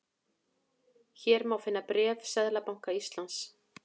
Hér má finna bréf Seðlabanka Íslands